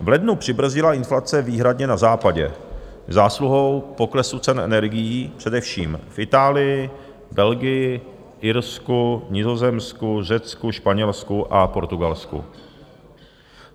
V lednu přibrzdila inflace výhradně na západě zásluhou poklesu cen energií především v Itálii, Belgii, Irsku, Nizozemsku, Řecku, Španělsku a Portugalsku.